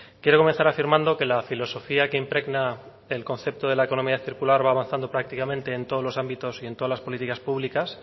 quiero comenzar afirmando que la filosofía que impregna el concepto de la economía circular va avanzando prácticamente en todos los ámbitos y todas las políticas públicas